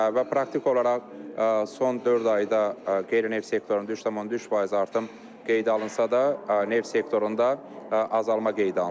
Və praktiki olaraq son dörd ayda qeyri-neft sektorunda 3,3% artım qeydə alınsa da, neft sektorunda azalma qeydə alınıb.